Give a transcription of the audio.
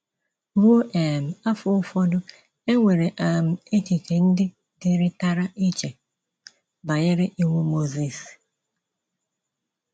Ruo um afọ ụfọdụ, e nwere um echiche ndị dịrịtara iche banyere Iwu Mozis.